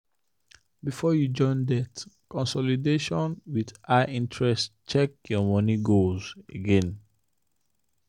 before you join debt consolidation with high interest check your money goals again.